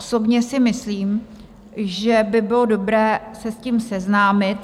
Osobně si myslím, že by bylo dobré se s tím seznámit.